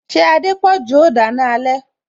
Ṣé Adepoju o dana alẹ